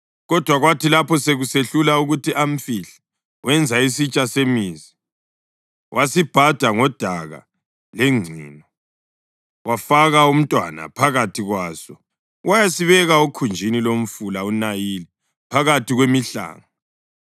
Kodwa kwathi lapho sekusehlula ukuthi amfihle, wenza isitsha semizi, wasibhada ngodaka lengcino. Wafaka umntwana phakathi kwaso wayasibeka okhunjini lomfula uNayili phakathi kwemihlanga.